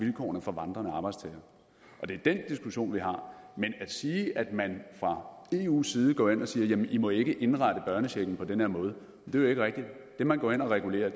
vilkårene for vandrende arbejdstagere og det er den diskussion vi har men at sige at man fra eus side går ind og siger at i ikke må indrette børnechecken på den her måde er jo ikke rigtigt det man går ind og regulerer